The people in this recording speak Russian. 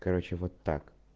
короче вот так